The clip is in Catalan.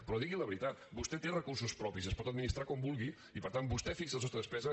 però digui la veritat vostè té recursos propis i els pot administrar com vulgui i per tant vostè fixa el sostre de despesa